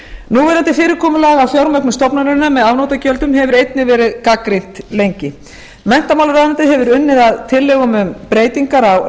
núverandi fyrirkomulag að fjármögnun stofnunarinnar með afnotagjöldum hefur einnig verið gagnrýnt lengi menntamálaráðuneytið hefur unnið að tillögum um breytingar á